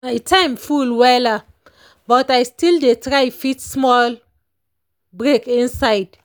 my time full wella but i still dey try fit small break inside.